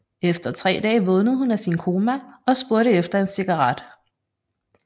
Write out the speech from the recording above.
Efter tre dage vågnede hun af sin koma og spurgte efter en cigaret